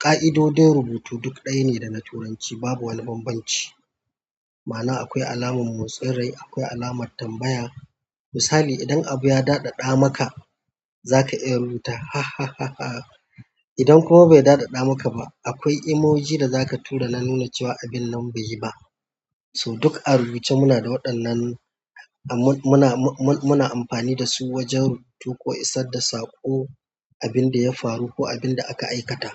ƙa'idodin rubutu duk ɗaya ne da na Turanci babu wani bambanci. Ma'ana akwai alamar motsin rai, akwai alamar tambaya. Misali idan abu ya daɗaɗa maka, zaka iya rubuta hahaha idan kuma bai daɗaɗa maka ba, akwai emoji da zaka tura na nuna cewa abin nan bai yi ba. So duk a rubuce muna da waɗannan, mun-muna amfani dasu wajen rubutu ko isar da saƙo, abin da ya faru ko abin da aka aikata.